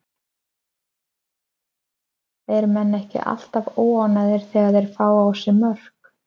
Eru menn ekki alltaf óánægðir þegar þeir fá á sig mörk?